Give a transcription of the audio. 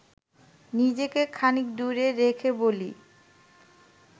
নিজেকে খানিক দূরে রেখে বলি